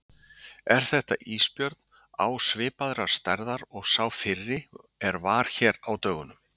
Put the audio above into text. Björn: Er þetta ísbjörn á svipaðrar stærðar og sá fyrri er var hér á dögunum?